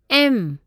M